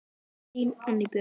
Þín, Anný Björg.